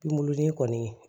Pinguruni kɔni